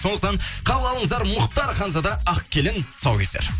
сондықтан қабыл алыңыздар мұхтар ханзада ақ келін тұсаукесер